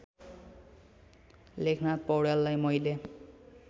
लेखनाथ पौड्याललाई मैले